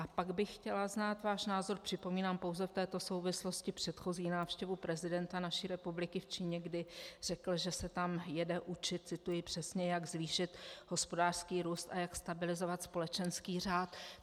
A pak bych chtěla znát váš názor - připomínám pouze v této souvislosti předchozí návštěvu prezidenta naší republiky v Číně, kdy řekl, že se tam jede učit - cituji přesně: "jak zvýšit hospodářský růst a jak stabilizovat společenský řád".